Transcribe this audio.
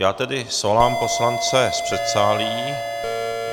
Já tedy svolám poslance z předsálí.